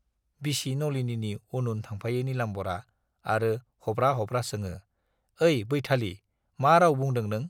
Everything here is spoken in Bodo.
बिसि नलिनीनि उन उन थांफायो नीलाम्बरआ आरो हब्रा-हब्रा सोङो, ऐ बैथालि, मा राव बुंदों नों?